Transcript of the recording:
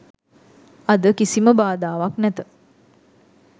අද කිසිම බාධාවක් නැත